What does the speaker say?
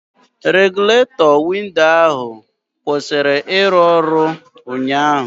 Regụletọ windo ahụ kwụsịrị ịrụ ọrụ ụnyaahụ